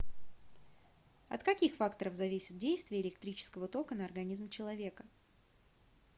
от каких факторов зависит действие электрического тока на организм человека